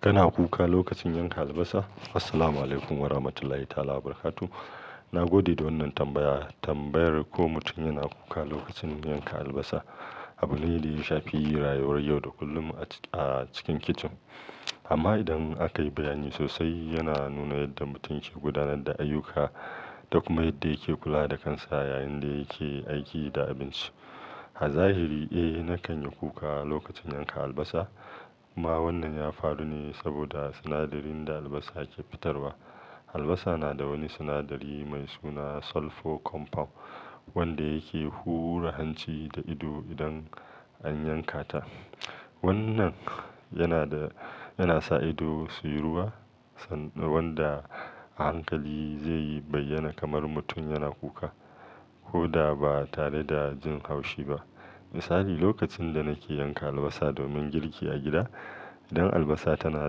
Kana kuka lokacin yanka albasa? Assalamualaikum wa rahmatullahi ta'ala wa barakatu. Na gode da wannan tambaya. Tambayar ko mutum yana kuka lokacin yanka albasa, abune da ya shafi rayuwar yau da kullum a cikin-a cikin kicin. Amma idan aka yi bayani sosai, yana nuna yadda mutum ke gudanar da ayyuka, da kuma yadda yake kula da kansa yayin da yake aiki da abinci. A zahiri, eh, na kan yi kuka lokacin yanka albasa amma wannan ya faru ne saboda sinadarin da albasa ke fitarwa Albasa na da wani sinadari mai suna sulfur compound, wanda yake hura hanci da ido idan an yanka ta. Wannan yana da-yana sa ido su yi ruwa san-wanda a hankali zai yi bayyana kamar mutum yana kuka koda ba tare da jin haushi ba. Misali, lokacin da nake yanka albasa domin girki a gida, idan albasa tana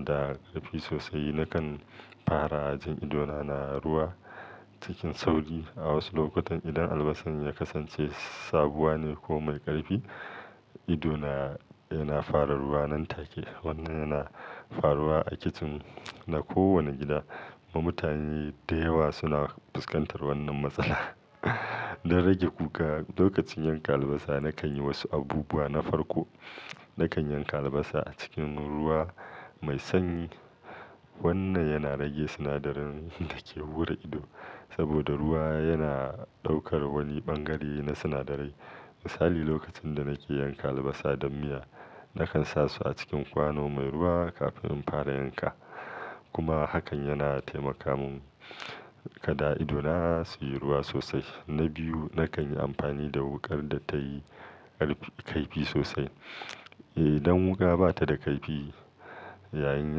da ƙarfi sosai, na kan fara jin idona na ruwa cikin sauri. A wasu lokutan, idan albasan ya kasance sabuwa ne ko mai ƙarfi, ido na yana fara ruwa nan take. Wannan yana faruwa a kicin na kowane gida, kuma mutane da yawa suna fuskantar wannan matsala. Don rage kuka lokacin yanka albasa, na kan yi wasu abubuwa na farko. Na kan yanka albasa a cikin ruwa mai sanyi. Wannan yana rage sinadarin da ke hura ido, saboda ruwa yana ɗaukar wani bangare na sinadarai. Misali, lokacin da nake yanka albasa don miya, na kan sa su a cikin kwano mai ruwa kafin in fara yanka, kuma hakan yana taimaka mun kada idona su yi ruwa sosai. Na biyu, na kan yi amfani da wuƙar da tayi ƙarfi-kaifi sosai. Idan wuƙa ba ta da kaifi, yayin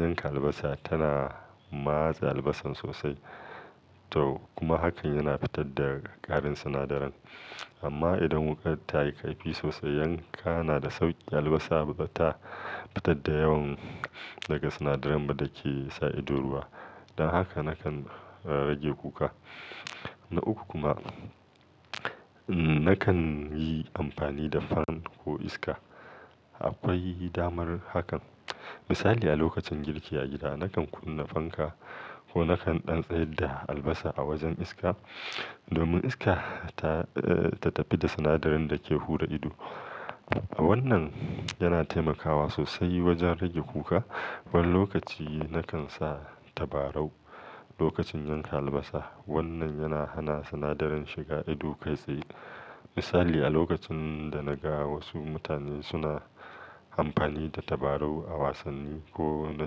yanka albasa, tana matsa albasan sosai, to kuma hakan yana fitar da ƙarin sinadaran. Amma idan wuƙar ta yi kaifi sosai, yanka na da sauƙi, albasa ba ta fitar da yawan, daga sinadaran ba da ke sa ido ruwa. Don haka na kan, eh, rage kuka. Na uku kuma, nakan yi amfani da fan ko iska, Akwai damar hakan. Misali, a lokacin girki a gida, na kan kunna fanka ko na kan ɗan tsayar da albasa a wajen iska, domin iska ta, eh, ta tafi da sinadarin da ke hura ido, Wannan yana taimakawa sosai wajen rage kuka. Wani lokaci, na kan sa tabarau lokacin yanka albasa. Wannan yana hana sinadarin shiga ido kai tsaye. Misali, a lokacin da na ga wasu mutane suna amfani da tabarau a wasanni ko na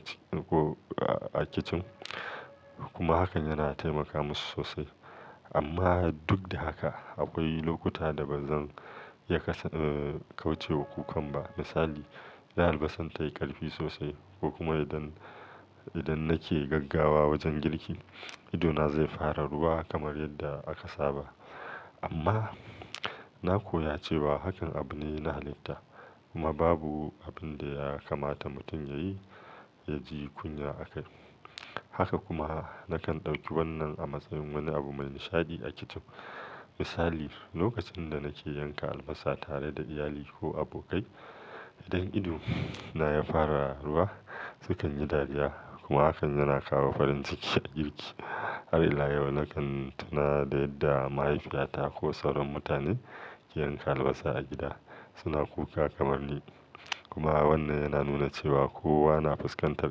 ci-ko a-a kicin, kuma hakan yana taimaka musu sosai. Amma duk da haka, akwai lokuta da ba zan iya ka-eh kauce wa kukan ba. Misali, idan albasan ta yi ƙarfi sosai ko kuma idan, idan nake gaggawa wajen girki, idona zai fara ruwa kamar yadda aka saba, amma, na koya cewa hakan abu ne na halitta. Kuma babu abin da ya kamata mutum ya yi, ya ji kunya akai. Haka kuma, na kan ɗauki wannan a matsayin wani abu mai nishaɗi a kicin. Misali, lokacin da nake yanka albasa tare da iyali ko abokai, idan ido na ya fara ruwa, sukan yi dariya. Kuma hakan yana kawo farin ciki a girki. Har ila yau, na kan tuna da yadda mahaifiyata ko sauran mutane, ke yanka albasa a gida suna kuka kamar ni. Kuma wannan yana nuna cewa kowa na fuskantar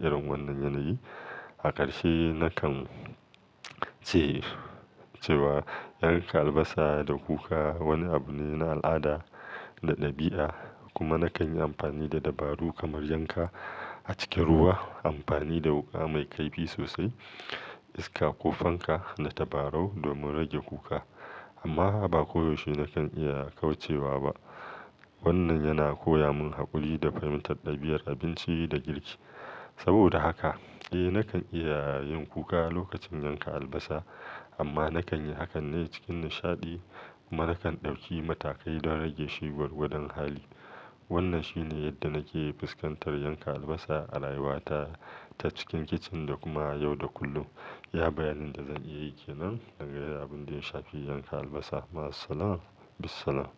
irin wannan yanayi, A ƙarshe, na kan ce, cewa yanka albasa da kuka wani abu ne na al'ada da ɗabi'a. Kuma na kan yi amfani da dabaru kamar yanka a cikin ruwa, amfani da wuƙa mai kaifi sosai, iska ko fanka da tabarau domin rage kuka. Amma ba koyaushe na kan iya kauce wa ba. Wannan yana koya mun haƙuri da fahimtar ɗabi'ar abinci da girki. Saboda haka, eh, na kan iya yin kuka lokacin yanka albasa, amma na kan yi hakan ne cikin nishaɗi, kuma na kan ɗauki matakai don rage shi gwargwadon hali. Wannan shine yadda nake fuskantar yanka albasa a rayuwa ta, ta cikin kicin da kuma yau da kullum. Iya bayanin da zan iya yi ke nan game da abin da ya shafi yanka albasa. Ma'assalam. Bissalam.